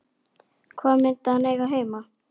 Hvar myndi hann eiga heima?